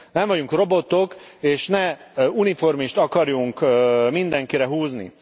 Nem vagyunk robotok, és ne uniformist akarjunk mindenkire húzni.